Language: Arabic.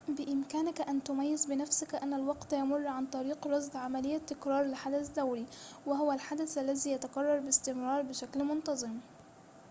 بإمكانك أن تميّز بنفسك أن الوقت يمر عن طريق رصد عملية تكرار لحدث دوري وهو الحدث الذي يتكرر باستمرار بشكل منتظم